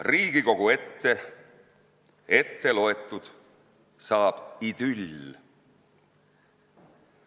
Riigikogu ette ette loetud saab idüll.